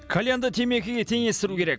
кальянды темекіге теңестіру керек